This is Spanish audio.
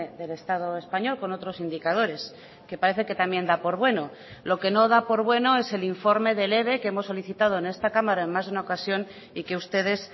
del estado español con otros indicadores que parece que también da por bueno lo que no da por bueno es el informe del eve que hemos solicitado en esta cámara en más de una ocasión y que ustedes